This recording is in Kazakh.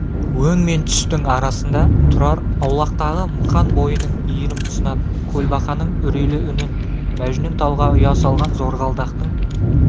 өң мен түстің арасында тұрар аулақтағы мықан бойының иірім тұсынан көлбақаның үрейлі үнін мәжнүн талға ұя салған зорғалдақтың